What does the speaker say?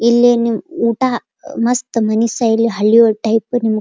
ಇಲ್ಲಿ ನೀವ್ ಊಟ ಮಸ್ತ್ ಮನಿ ಸ್ಟೈಲ್ ಹಳ್ಳಿ ಟೈಪ್ --